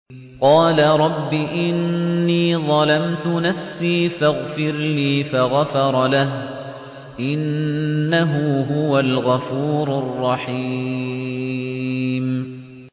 قَالَ رَبِّ إِنِّي ظَلَمْتُ نَفْسِي فَاغْفِرْ لِي فَغَفَرَ لَهُ ۚ إِنَّهُ هُوَ الْغَفُورُ الرَّحِيمُ